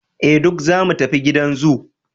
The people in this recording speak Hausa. eh duk zamu tafi gidan zoo